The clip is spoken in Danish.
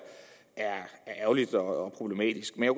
ærgerligt og problematisk jeg